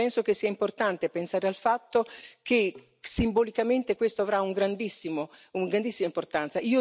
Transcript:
Penso che sia importante pensare al fatto che, simbolicamente, questo avrà una grandissima importanza.